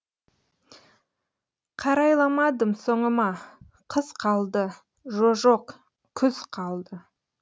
қарайламадым соңыма қыз қалды жо жоқ күз қалды